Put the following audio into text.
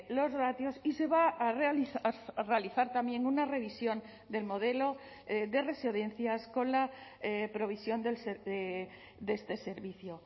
los ratios y se va a realizar también una revisión del modelo de residencias con la provisión de este servicio